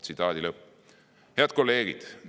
" Head kolleegid!